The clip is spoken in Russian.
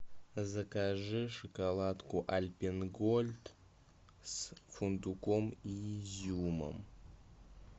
закажи шоколадку альпен гольд с фундуком и изюмом